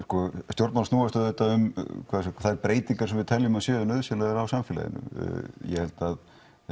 stjórnmálin snúast auðvitað um þær breytingar sem við teljum að séu nauðsynlegar í samfélaginu ég held að